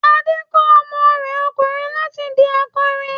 Adé tọ́ ọmọ rẹ ọkùnrin láti di akọrin.